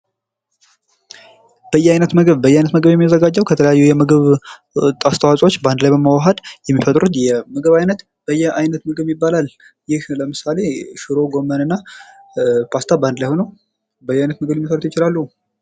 በየአይነቱ ምግብ በየአይነት ምግብ የሚዘጋጀው ከተለያዩ የምግብ አስተዋጾዎች ላይ በመዋሀድ የሚፈጥሩት የምግብ ዓይነት በየአይነት ይባላል። ይህ ለምሳሌ ሽሮ ጎመን እና ፖስታ በአንድ ላይ ሆኖ በየአይነት መስራት ይችላሉ።